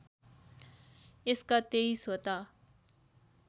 यसका २३ वटा